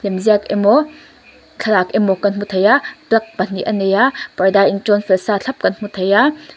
lemziak emaw thlalak emaw ka hmu thei a plug pahnih a nei a parda in tawn fel sâ thlap kan hmu thei a.